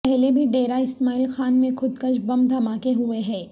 پہلے بھی ڈیرہ اسماعیل خان میں خودکش بم دھماکے ہوئے ہیں